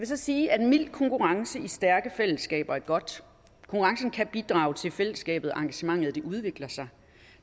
så sige at mild konkurrence i stærke fællesskaber er godt konkurrencen kan bidrage til at fællesskabet og engagementet udvikler sig